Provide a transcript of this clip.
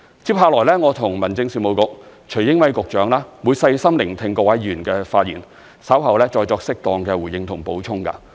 接下來我和民政事務局局長徐英偉會細心聆聽各位議員的發言，稍後再作適當的回應及補充。